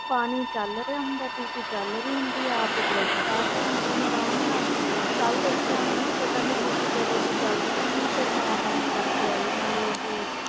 ਪਾਣੀ ਚੱਲ ਰਿਹਾ ਹੁੰਦਾ ਹੈ ਟੂਟੀ ਚੱਲ ਰਹੀ ਹੁੰਦੀ ਆ, ਆਪ ਬਰਸ਼ ਕਰ ਰਹੇ ਹੁੰਦੇ ਨੇ ਆਰਾਮ ਨਾਲ ਕੱਲ੍ਹ ਦੇਖਿਆ ਮੈਨੇ ਪਤਾ ਨੀ ਟੂਟੀ ਕਦੋਂ ਦੀ ਚੱਲਦੀ ਹੋਣੀ ਫਿਰ ਮੈਂ ਬੰਦ ਕਰਕੇ ਆਈ ਨਾਲੇ ਉਹ,